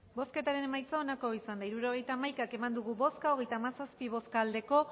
hirurogeita hamaika eman dugu bozka hogeita hamazazpi bai